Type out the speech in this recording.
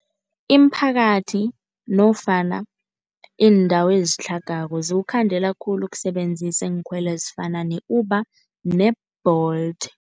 Iimphakathi nofana iindawo ezitlhagako, ziwukhandela khulu ukusebenzisa iinkhwelo ezifana ne-Uber ne-Bolt.